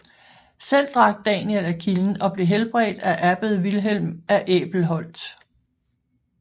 Selv drak Daniel af kilden og blev helbredt af abbed Vilhelm af Æbelholt